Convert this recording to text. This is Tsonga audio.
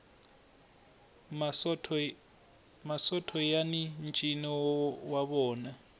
masotho yani ncino wa vona